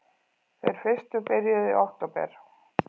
Þeir fyrstu byrjuðu í október